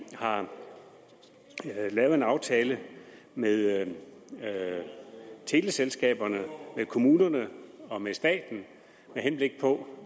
har lavet en aftale med teleselskaberne med kommunerne og med staten med henblik på